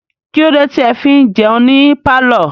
Kílódé tí ẹ fi ń jẹun ní pálọ̀?